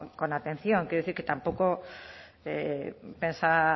con atención quiero decir que tampoco pensaba